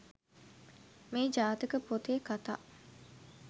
මේ ජාතක පොතේ කථා